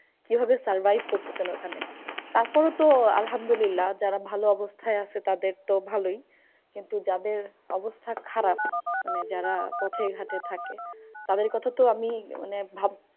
কিভাবে survive করতেসেন ঐখানে? তারপরেও তো আলহামদুল্লিয়াহ যারা ভালো অবস্থায় আছে তাদের তো ভালোই। কিন্তু যাদের অবস্থা খারাপ মানে যারা পথে ঘটে থাকে তাদের কথা তো আমি মানে